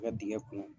I ka dingɛ kun